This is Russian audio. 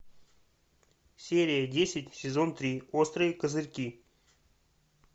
серия десять сезон три острые козырьки